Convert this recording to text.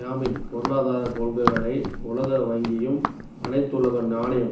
யமீனின் பொருளாதாரக் கொள்கைகளை உலக வங்கியும் அனைத்துலக நாணய